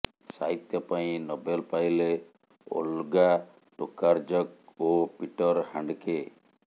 ସାହିତ୍ୟ ପାଇଁ ନୋବେଲ ପାଇଲେ ଓଲ୍ଗା ଟୋକାର୍ଜକ୍ ଓ ପିଟର ହାଣ୍ଡକେ